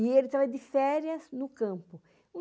E ele estava de férias no campo.